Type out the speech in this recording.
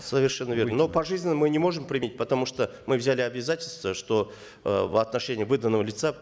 совершенно верно но пожизненно мы не можем применить потому что мы взяли обязательство что э в отношении выданного лица